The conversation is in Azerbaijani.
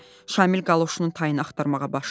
Şamil qaloşunun tayını axtarmağa başladı.